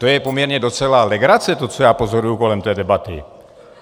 To je poměrně docela legrace, to, co já pozoruju kolem té debaty!